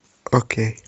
окей